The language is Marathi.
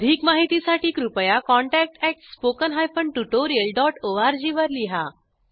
अधिक माहितीसाठी कृपया contactspoken tutorialorg वर लिहा